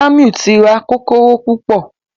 Jamiu tí rá Kókóró púpọ.